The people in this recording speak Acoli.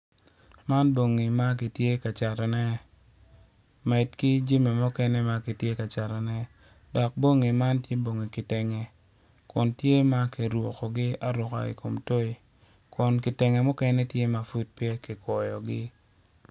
Man bongi ma kitye ka catone med ki jami mukene ma kitye ka catone dok bongi man tye bongi kitenge kun tye ma kirukogi aruka i kom toyi kun kitenge mukene pud pe tye ma kikwoyogi.